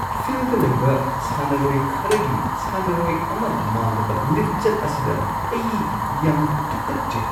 ꯐꯤꯜꯗ ꯂꯩꯕ ꯁꯥꯟꯅꯔꯣꯏ ꯈꯔꯒꯤ ꯁꯥꯟꯅꯔꯣꯏ ꯑꯃ ꯃꯥꯟꯗꯕ ꯂꯤꯆꯠ ꯑꯁꯤꯗ ꯑꯩ ꯌꯥꯝꯅ ꯇꯨꯀꯠꯆꯩ꯫